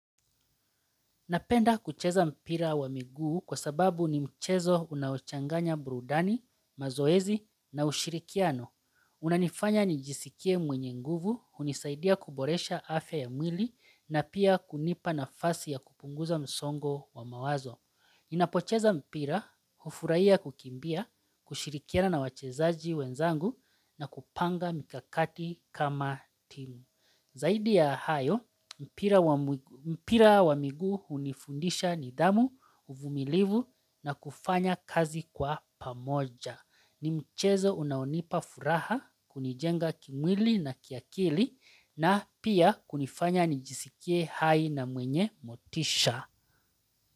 Napenda kucheza mpira wa miguu kwa sababu ni mchezo unaochanganya burudani, mazoezi na ushirikiano. Unanifanya nijisikie mwenye nguvu, hunisaidia kuboresha afya ya mwili na pia kunipa nafasi ya kupunguza msongo wa mawazo. Ninapocheza mpira, hufurahia kukimbia, kushirikiana na wachezaji wenzangu na kupanga mikakati kama timu. Zaidi ya hayo, mpira wa miguu hunifundisha nidhamu, uvumilivu na kufanya kazi kwa pamoja. Ni mchezo unaonipa furaha, kunijenga kimwili na kiakili na pia kunifanya nijisikie hai na mwenye motisha.